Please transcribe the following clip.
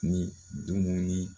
Ni dumuni